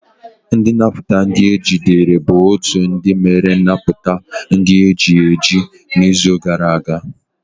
Ndi nnaputa ndi ejidere bụ otu ndị mere nnapụta ndị eji eji n'izu gara aga.